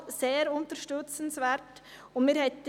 Erstens haben wir den Klimawandel.